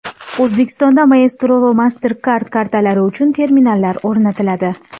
O‘zbekistonda Maestro va MasterCard kartalari uchun terminallar o‘rnatiladi.